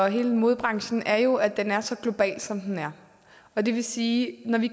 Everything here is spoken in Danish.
hele modebranchen er jo at den er så global som den er og det vil sige at når vi